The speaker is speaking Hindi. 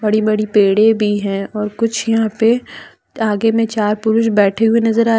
बड़ी बड़ी पेड़े भी है और कुछ यहाँ पे आगे में चार पुरुष बैठे हुए नजर आ--